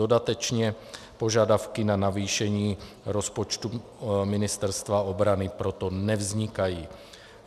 Dodatečně požadavky na navýšení rozpočtu Ministerstva obrany proto nevznikají.